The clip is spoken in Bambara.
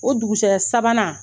O dugusajɛ sabanan